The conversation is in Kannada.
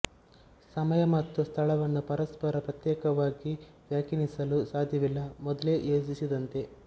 ಸಮಯ ಮತ್ತು ಸ್ಥಳವನ್ನು ಪರಸ್ಪರ ಪ್ರತ್ಯೇಕವಾಗಿ ವ್ಯಾಖ್ಯಾನಿಸಲು ಸಾಧ್ಯವಿಲ್ಲ ಮೊದಲೇ ಯೋಚಿಸಿದಂತೆ